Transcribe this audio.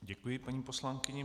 Děkuji paní poslankyni.